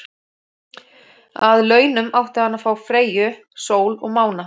Að launum átti hann að fá Freyju, sól og mána.